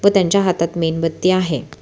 व त्यांच्या हातात मेणबत्ती आहे.